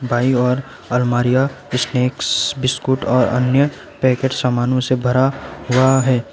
बाईं ओर अलमारियां स्नैक्स बिस्कुट और अन्य पैकेट सामानों से भरा हुआ है।